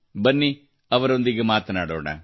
ಬನ್ನಿ ಅವರೊಂದಿಗೆ ಮಾತನಾಡೋಣ